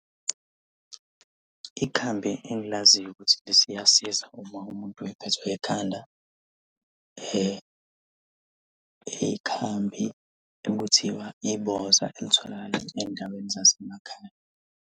Ikhambi engilaziyo ukuthi liyasiza uma umuntu ephethwe yikhanda, ikhambi ekuthiwa iboza elitholakala ey'ndaweni zasemakhaya.